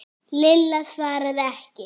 Lilla svaraði ekki.